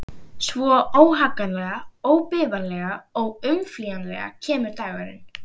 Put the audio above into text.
Svo, óhagganlega, óbifanlega, óumflýjanlega kemur dagurinn.